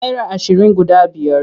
Naira ashirin guda biyar.